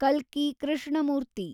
ಕಲ್ಕಿ ಕೃಷ್ಣಮೂರ್ತಿ